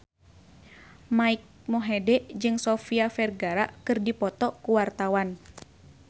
Mike Mohede jeung Sofia Vergara keur dipoto ku wartawan